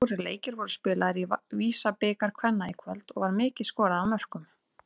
Fjórir leikir voru spilaðir í VISA-bikar kvenna í kvöld og var mikið skorað af mörkum.